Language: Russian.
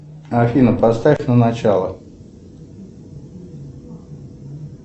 афина поставь на начало